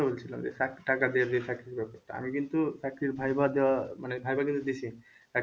বলছিলাম যে টাকা দিয়ে যে চাকরির ব্যাপারটা। আমি কিন্তু চাকরির viva দেওয়া মানে viva কিন্তু দিসি।